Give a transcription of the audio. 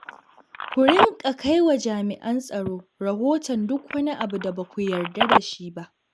Ku rinƙa kai wa jami'an tsaro rahoton duk wani abu da ba ku yarda da shi ba.